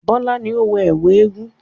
Bọ́lá ni ó wọ ẹ̀kú eégun.